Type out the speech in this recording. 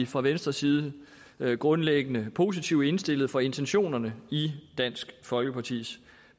fra venstres side grundlæggende positivt indstillet over for intentionerne i dansk folkepartis